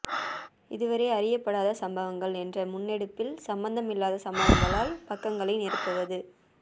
இதுவரை அறியப் படாத சம்பவங்கள் என்ற முன்னெடுப்பில் சம்பந்தம் இல்லாத சம்பவங்களால் பக்கங்களை நிரப்புவது